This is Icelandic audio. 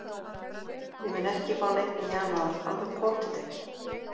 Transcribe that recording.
Ég mun ekki fá neinn í janúar, alveg pottþétt ekki.